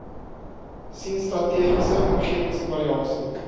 sien strategiese omgewingsevaluasie